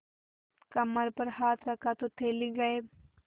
कमर पर हाथ रखा तो थैली गायब